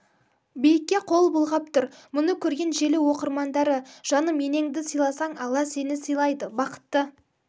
биікке қол бұлғап тұр мұны көрген желі оқырмандары жаным енеңді сыйласаң алла сені сыйлайды бақытты